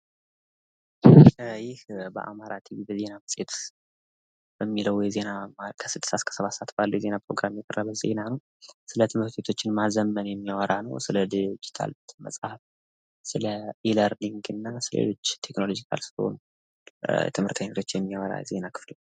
ይህ በአማራ ቲቪ የዜና መጽሄት በሚለው ከስድስት እስከ ሰባት ሰአት ባለው የሚቀርብ ዜና ነው። ስለትምህርት ውጤቶች ማዘመን፣ ስለ ዲጂታል መጽሐፍ እና ስለ ኢ ለርኒግ ስለ ሌሎች ቴክኒካል ስለሆኑ ነገሮች የሚገልጽ ዜና ነው።